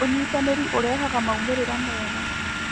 ũnyitanĩri ũrehaga maũmĩrĩra mega.